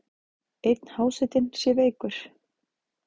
Einn hásetinn sé veikur.